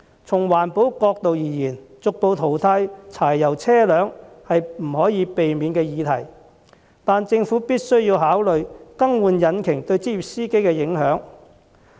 從環保角度而言，逐步淘汰柴油車輛不可避免，但政府必須考慮更換引擎對職業司機的影響。